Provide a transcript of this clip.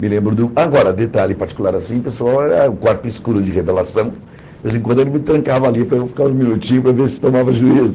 Me lembro do... Agora, detalhe particular assim, pessoal é o quarto escuro de revelação, de vez em quando ele me trancava ali para eu ficar uns minutinhos para ver se eu tomava juízo.